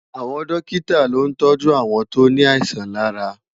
Awòn Dòkitá ló ntòjú áwòn tó ni áisàn làrá